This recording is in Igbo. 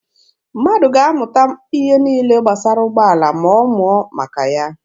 Mmadụ ga-amụta ihe niile gbasara ụgbọala ma ọ mụọ maka ya.